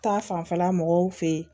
Ta fanfɛla mɔgɔw fɛ yen